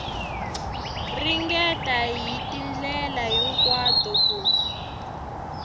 ringeta hi tindlela hinkwato ku